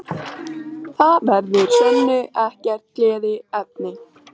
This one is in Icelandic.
Hérlendis eru án efa tvær ættir mýflugna þekktastar, rykmý og bitmý.